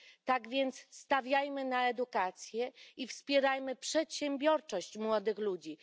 Tak więc stawiajmy na edukację i wspierajmy przedsiębiorczość młodych ludzi.